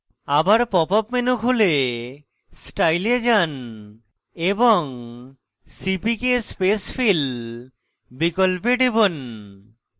আবার pop up menu খুলে style এ যান এবং cpk spacefill বিকল্পে টিপুন